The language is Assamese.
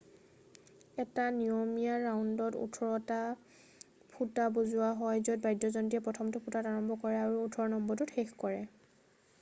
এটা নিয়মীয়া ৰাউণ্ডত ওঠৰটা ফুটা বজোৱা হয় য'ত বাদ্যযন্ত্ৰীয়ে প্ৰথমটো ফুটাত আৰম্ভ কৰে আৰু ওঠৰ নম্বৰটোত শেষ কৰে